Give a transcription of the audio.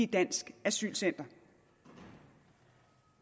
dansk asylcenter